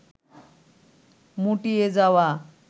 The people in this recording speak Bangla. মুটিয়ে যাওয়া